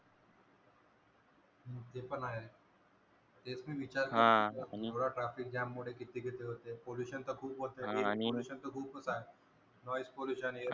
ते पण आहे ते मी विचार करतो traffic jam मुळे किती वेळ होते pollution त खूपच आहे air pollution खूपच आहे noise pollution